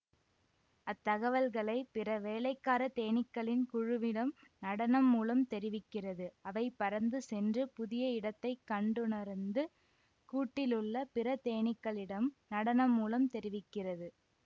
அத்தகவல்களை பிற வேலைக்காரத்தேனிக்களின் குழுவிடம் நடனம் மூலம் தெரிவிக்கிறது அவை பறந்து சென்று புதிய இடத்தை கண்டுணரந்து கூட்டிலுள்ள பிற தேனிக்களிடம் நடனம் மூலம் தெரிவிக்கிறது